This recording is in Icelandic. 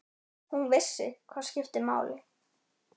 Hún vissi hvað skipti máli.